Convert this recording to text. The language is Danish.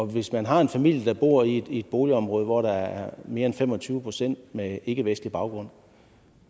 hvis man har en familie der bor i et boligområde hvor der er mere end fem og tyve procent med ikkevestlig baggrund